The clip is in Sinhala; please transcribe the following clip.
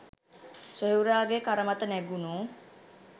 සොහොයුරාගේ කර මත නැගුණු